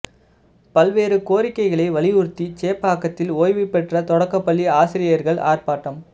பல்வேறு கோரிக்கைகளை வலியுறுத்தி சேப்பாக்கத்தில் ஓய்வு பெற்ற தொடக்கப்பள்ளி ஆசிரியர்கள் ஆர்ப்பாட்டம்